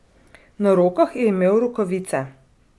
Na rokah je imel rokavice.